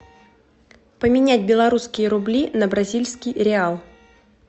поменять белорусские рубли на бразильский реал